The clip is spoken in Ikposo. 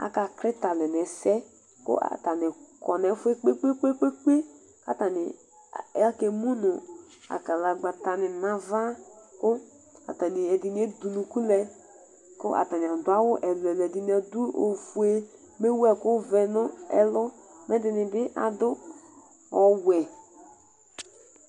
Aka klɩtalɛ nɛsɛ, kʊ atanɩ kɔ nɛfʊɛ kpekpekpe kpekpekpe katanɩ akemʊ nʊ akalagbata nɩ nava, kʊ atanɩ edʊnʊkʊ lɛ, kʊ atanɩ adʊ awʊ ɛlʊɛlʊ Ɛdɩnɩ adʊ ofʊe mewʊ ɛku vɛ nɛlʊ kɛdɩnɩbɩ adʊ ɔwɛ